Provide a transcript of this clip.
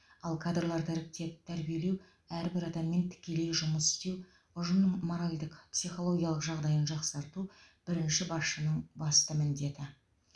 ал кадрларды іріктеп тәрбиелеу әрбір адаммен тікелей жұмыс істеу ұжымның моральдық психологиялық жағдайын жақсарту бірінші басшының басты міндеті